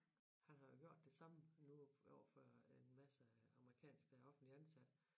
Han har jo gjort det samme nu overfor en masse amerikansk der er offentligt ansat